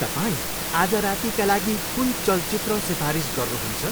तपाईँ आज रातिका लागि कुन चलचित्र सिफारिस गर्नुहुन्छ?